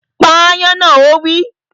Pa ááyán náà! Ó wí